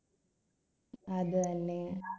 അത് തന്നെ